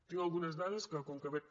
tinc algunes dades que com que veig